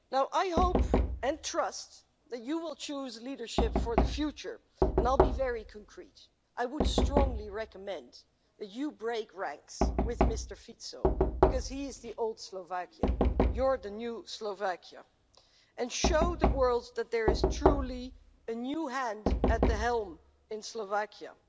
I hope, and trust, that you will choose leadership for the future, and I shall be very specific. I would strongly recommend that you break ranks with Mr Fico, because he is the old Slovakia you are the new Slovakia and show the world that there is truly a new hand at the helm in Slovakia.